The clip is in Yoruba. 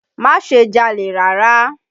Má ṣe jalè rárá!